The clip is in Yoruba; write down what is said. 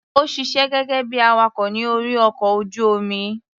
Ó ṣiṣé gẹ́gẹ́ bí i awakọ̀ ní orí ọkọ̀ ojú-omi.